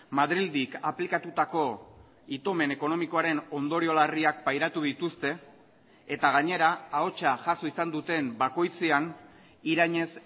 madrildik aplikatutako itomen ekonomikoaren ondorio larriak pairatu dituzte eta gainera ahotsa jaso izan duten bakoitzean irainez